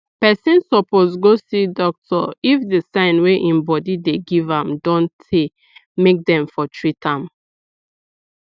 person suppose go see doctor if the sign wey im body dey give am don tey make dem for treat am